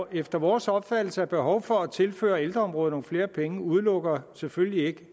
efter vores opfattelse er behov for at tilføre ældreområdet nogle flere penge udelukker selvfølgelig ikke